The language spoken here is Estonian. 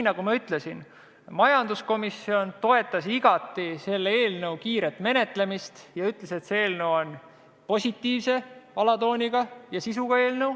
Nagu ma ütlesin, toetas majanduskomisjon igati selle eelnõu kiiret menetlemist ja ütles, et see eelnõu on positiivse alatooni ja sisuga.